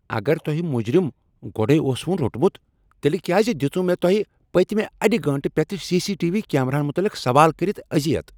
اگر تۄہِہ مجرم گۄڈے ٲسوٕ روٹمُت تِیلہِ کیازِ دِژوٕ تُۄہِہ مےٚ پٔتۍمِہ اَڈِ گٲنٹہٕ پیٹھ سی، سی، ٹی، وی کیمراہن متلق سوال کٔرِتھ اذِیت؟